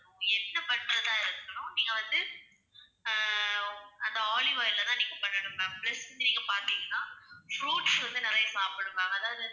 எது பண்றதா இருந்தாலும் நீங்க வந்து ஆஹ் அந்த olive oil ல தான் நீங்க பண்ணனும் ma'am next நீங்க பாத்தீங்கன்னா fruits வந்து நிறைய சாப்பிடணும ma'am. அதாவது